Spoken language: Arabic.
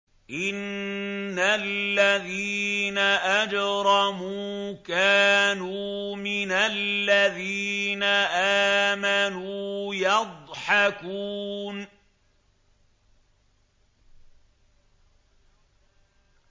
إِنَّ الَّذِينَ أَجْرَمُوا كَانُوا مِنَ الَّذِينَ آمَنُوا يَضْحَكُونَ